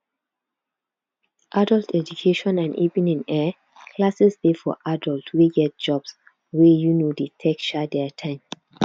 adult education and evening um classes dey for adult wey get jobs wey um dey take um their time